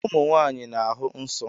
Ụmụ nwaanyị na-ahụ nsọ́